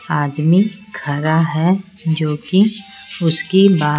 आदमी खड़ा है जो कि उसकी --